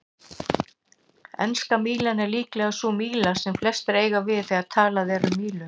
Enska mílan er líklega sú míla sem flestir eiga við þegar talað er um mílur.